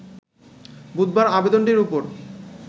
বুধবার আবেদনটির ওপর